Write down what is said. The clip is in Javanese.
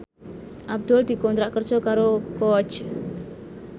Abdul dikontrak kerja karo Coach